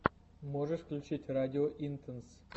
можешь включить радио интенс